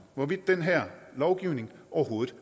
hvorvidt den her lovgivning overhovedet